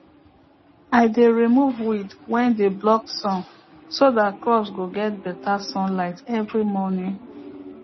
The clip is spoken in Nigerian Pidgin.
i dey remove weed wey dey block sun so that crop go get better sunlight every morning